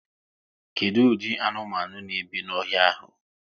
Kedụ ụdị anụmanụ n'ebi n'ọhịa ahụ?